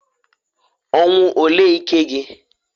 Ọnwụ olee ike gi?